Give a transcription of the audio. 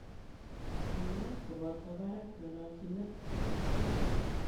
Kanyaet kopotoo paraak ,ngalalchineet ak kerichek.